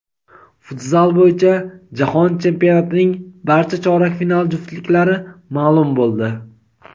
Futzal bo‘yicha jahon chempionatining barcha chorak final juftliklari maʼlum bo‘ldi:.